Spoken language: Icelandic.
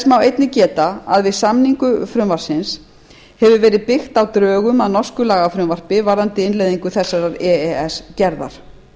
má einnig geta að við samningu frumvarpsins hefur verið byggt á drögum að norsku lagafrumvarpi varðandi innleiðingu þessarar e e s gerðar